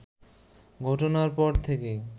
ঘটনার পর থেকেই